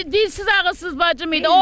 Bacım bir dilsiz-ağızsız bacım idi.